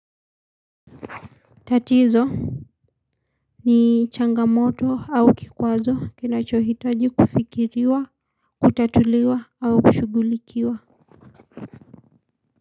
Tatizo ni changamoto au kikwazo kinachohitaji kufikiriwa, kutatuliwa au kushughulikiwa.